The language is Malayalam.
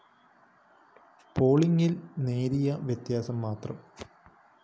പോളിംഗില്‍ നേരിയ വ്യത്യാസം മാത്രം